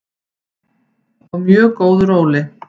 Á mjög góðu róli.